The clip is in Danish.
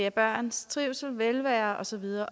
at børns trivsel velvære og så videre